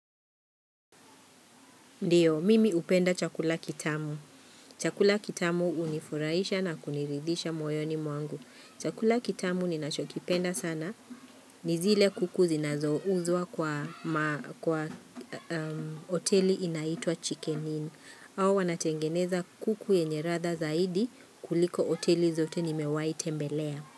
Ndiyo, mimi hupenda chakula kitamu. Chakula kitamu hunifurahisha na kuniridhisha moyoni mwangu. Chakula kitamu ninachokipenda sana. Nizile kuku zinazouzwa kwa hoteli inaitwa chicken in. Hao wanatengeneza kuku yenye ladha zaidi kuliko hoteli zote nimewahi tembelea.